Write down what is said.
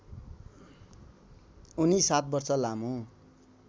उनी ७ वर्ष लामो